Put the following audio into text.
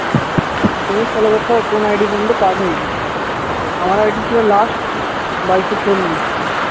আর একটা জিনিস follow করতে হবে কোন ID পর্যন্ত কাজ হয়েছে আমার ID ছিল last বাইশশো চল্লিশ